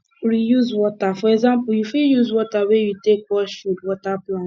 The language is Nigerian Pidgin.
reuse water for example you fit use water wey you take wash food water plant